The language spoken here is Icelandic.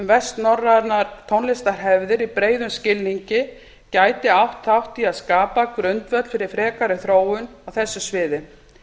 vestnorrænar tónlistarhefðir í breiðum skilningi gæti átt þátt í að skapa grundvöll fyrir frekari þróun á þessu sviði